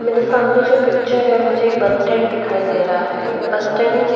मेरे सामने जो पिक्चर है मुझे एक बस स्टैंड दिखाई दे रहा है ये बस स्टैंड --